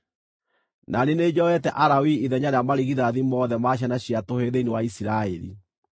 Na niĩ nĩ njoete Alawii ithenya rĩa marigithathi mothe ma ciana cia tũhĩĩ thĩinĩ wa Isiraeli.